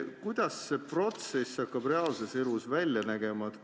Kuidas see protsess hakkab reaalses elus välja nägema?